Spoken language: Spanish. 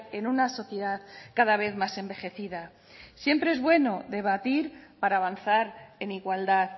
en una sociedad cada vez más envejecida siempre es bueno debatir para avanzar en igualdad